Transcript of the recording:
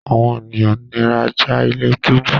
àwọn ènìyàn nira já ilé-túbú.